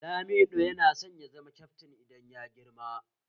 Lamido yana son ya zama kyaftin idan ya girma